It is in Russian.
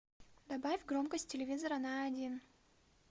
добавь громкость телевизора на один